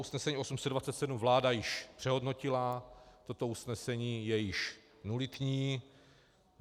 Usnesení 828 vláda již přehodnotila, toto usnesení je již nulitní.